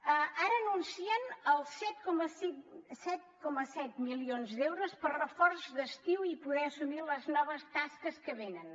ara anuncien els set coma set milions d’euros per reforç d’estiu i poder assumir les noves tasques que venen